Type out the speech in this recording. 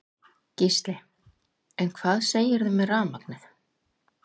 Gísli: En hvað segirðu með rafmagnið?